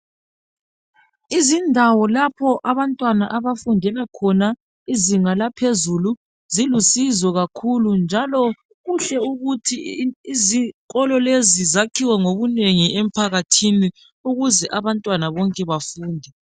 Izindawo lapho abantwana abafundela khona izinga laphezulu zilusizo kakhulu njalo kuhle ukuthi izikolo lezi zakhiwe ngobunengi emphakathini ukuze abantwana bonke bafunde.